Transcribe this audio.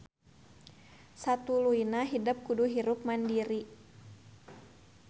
Satuluyna hidep kudu hirup mandiri